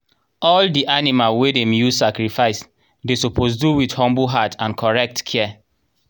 all the animal wey dem use sacrifice dey suppose do with humble heart and correct care.